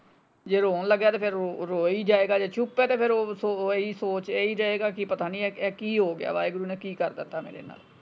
ਜੇ ਰੋਂ ਲੱਗਿਆ ਤੇ ਫੇਰ ਰੋਈ ਜਾਏਗਾ ਜੇ ਚੁੱਪ ਹੈ ਤੇ ਫੇਰ ਉਹ ਸੋਚ ਇਹੀ ਰਹੇਗਾ ਕਿ ਕਿ ਪਤਾ ਹੀ ਇਹ ਕੀ ਹੋਗਿਆ ਵਾਹਿਗੁਰੂ ਨੇ ਪਤਾ ਨਹੀਂ ਕੀ ਕਰਦਿੱਤਾ ਮੇਰੇ ਨਾਲ।